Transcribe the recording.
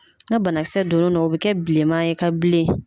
Na banakisɛ donn'o na o bi kɛ bilenma ye ka bilen.